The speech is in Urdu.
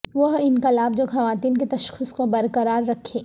وہ انقلاب جو خواتین کے تشخص کو برقرار رکھے